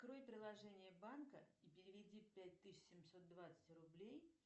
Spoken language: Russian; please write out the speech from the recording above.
открой приложение банка и переведи пять тысяч семьсот двадцать рублей